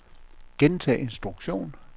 gentag instruktion